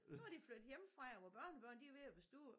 Nu er de flyttet hjemmefra og vores børnebørn de er ved at være store